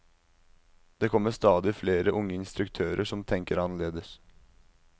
Det kommer stadig flere unge instruktører som tenker annerledes.